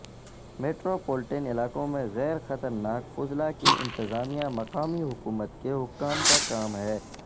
metropolitan علاقوں میں غیر خطرناک فضلہ کی انتظامیہ مقامی حکومت کے حکام کا کام ہے